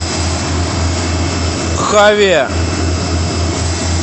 хаве